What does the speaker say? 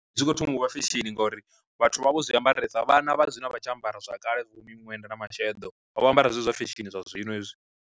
Zwi kho thoma uvha fesheni ngauri vhathu vha vha vho zwi ambaresa, vhana vha zwino a vha tsha ambara zwa kale vho miṅwenda na masheḓo, vha vho ambara zwezwo zwa fesheni zwa zwino hezwi.